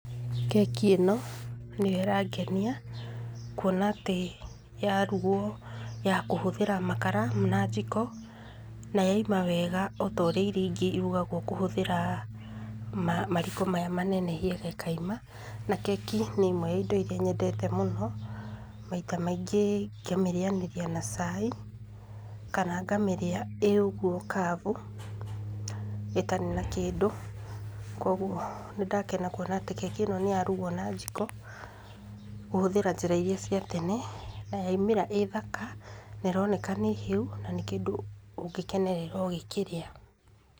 Keki ĩno nĩyo ĩrangenia kwona atĩ yarugwo ya kũhũthĩra makara na jiko na yauma wega ota ũrĩa irio ingĩ irugagwo kũhũthĩra mariko maya manene ĩkauma na keki indo ya imwe iria nyendete mũno, maita maingĩ ngamĩrĩanĩria na chai kana ngamĩrĩa ũguo kavu, ĩtarĩ na kĩndũ na kwoguo nĩ ndakena kwona atĩ nĩ ya rugwo na jiko, kũhũthĩra njĩra iria cia tene na yaumĩra wega nĩroneka nĩ hiũ na kĩndũ ũngĩkĩnerera ũgĩkĩrĩa.